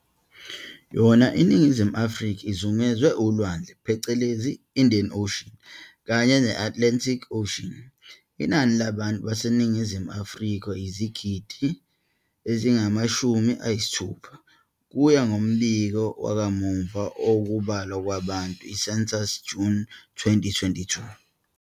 Yona iNingizimu Afrika izungezwe ulwandle phecelezi "Indian Ocean" kanye ne-Atlantic Ocean. Inani labantu baseNingizimu Afrika yizigidi ezingamashumi ayisithupha, ukuya ngombiko wakamuva wokubalwa kwabantu, i-Census, June 2022.